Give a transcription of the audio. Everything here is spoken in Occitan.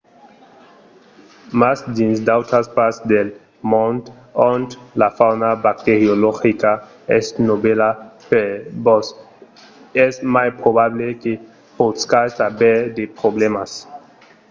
mas dins d'autras parts del mond ont la fauna bacteriologica es novèla per vos es mai probable que poscatz aver de problèmas